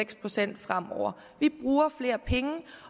procent fremover vi bruger flere penge